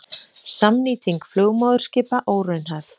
Samnýting flugmóðurskipa óraunhæf